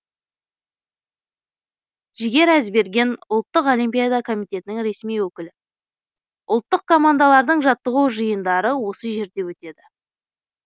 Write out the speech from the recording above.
жігер әзберген ұлттық олимпиада комитетінің ресми өкілі ұлттық командалардың жаттығу жиындары осы жерде өтеді